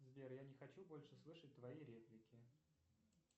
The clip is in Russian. сбер я не хочу больше слышать твои реплики